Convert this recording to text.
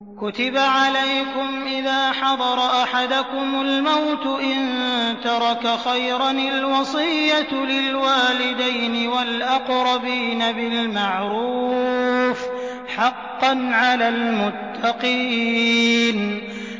كُتِبَ عَلَيْكُمْ إِذَا حَضَرَ أَحَدَكُمُ الْمَوْتُ إِن تَرَكَ خَيْرًا الْوَصِيَّةُ لِلْوَالِدَيْنِ وَالْأَقْرَبِينَ بِالْمَعْرُوفِ ۖ حَقًّا عَلَى الْمُتَّقِينَ